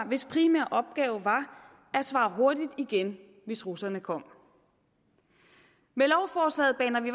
hvis primære opgave var at svare hurtigt igen hvis russerne kom med lovforslaget baner vi